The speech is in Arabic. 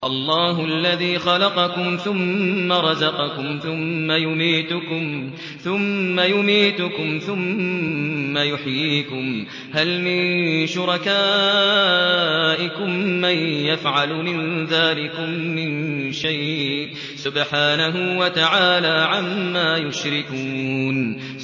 اللَّهُ الَّذِي خَلَقَكُمْ ثُمَّ رَزَقَكُمْ ثُمَّ يُمِيتُكُمْ ثُمَّ يُحْيِيكُمْ ۖ هَلْ مِن شُرَكَائِكُم مَّن يَفْعَلُ مِن ذَٰلِكُم مِّن شَيْءٍ ۚ سُبْحَانَهُ وَتَعَالَىٰ عَمَّا يُشْرِكُونَ